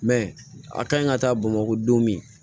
a ka ɲi ka taa bamakɔ don min